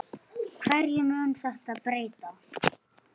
Hverju mun þetta breyta?